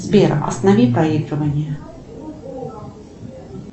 сбер останови проигрывание